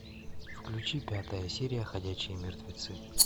включи пятая серия ходячие мертвецы